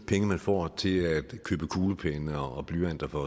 penge man får til at købe kuglepenne og blyanter for